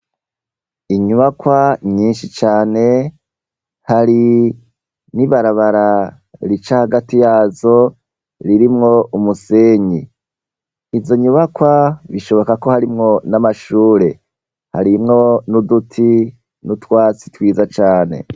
Inyubakwa nyinshi cane hari n'ibarabara rica hagati yazo, ririmwo umusenyi, izo nyubakwa bishoboka ko harimwo n'amashure harimwo n'uduti n'utwatsi twiza cane.